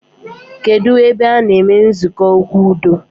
Kedụ ebe a-na eme nzukọ okwu udo